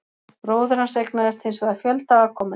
Bróðir hans eignaðist hins vegar fjölda afkomenda.